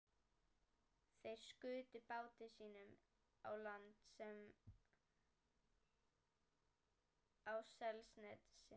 Þeir skutu báti sínum á land á Selnesi.